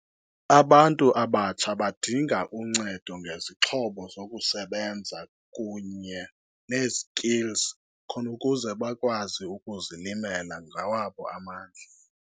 Abantu abatsha badinga uncedo ngezixhobo zokusebenza kunye nee-skills khona ukuze bakwazi ukuzilimela ngawabo amandla.